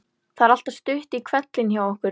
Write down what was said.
Það er alltaf stutt í hvellinn hjá okkur.